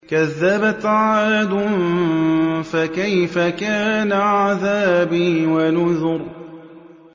كَذَّبَتْ عَادٌ فَكَيْفَ كَانَ عَذَابِي وَنُذُرِ